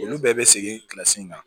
Olu bɛɛ bɛ segin in kan